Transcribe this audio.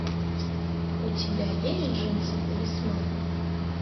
у тебя есть джинсы талисман